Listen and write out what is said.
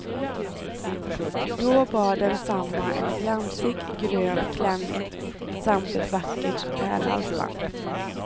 Då bar densamma en glansig, grön klänning samt ett vackert pärlhalsband.